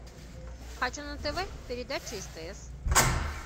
хочу на тв передачу стс